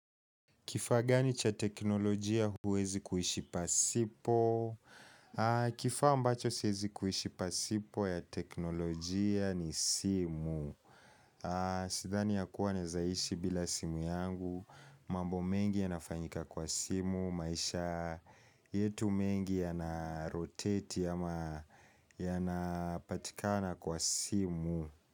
Kifaa gani cha teknolojia huwezi kuishi pasipo? Kifaa ambacho siwezi kuishi pasipo ya teknolojia ni simu. Sidhani ya kuwa naezaishi bila simu yangu, mambo mengi yanafanyika kwa simu, maisha yetu mengi yanaroteti ama yanapatikana kwa simu.